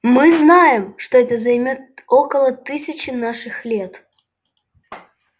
мы знаем что это займёт около тысячи наших лет